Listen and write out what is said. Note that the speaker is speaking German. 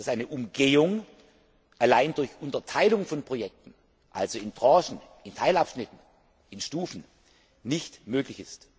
Eine Umgehung allein durch Unterteilung von Projekten, also in Tranchen, in Teilabschnitten, ist in Stufen nicht möglich.